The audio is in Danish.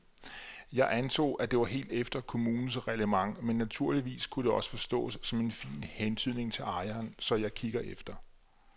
Jeg antog, at det var helt efter kommunens reglement men naturligvis kunne det også forstås som en fin hentydning til ejeren, så jeg kiggede efter.